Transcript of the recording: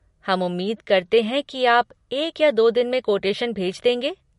हम उम्मीद करते हैं कि आप एक या दो दिन में कोटेशन भेज देंगे।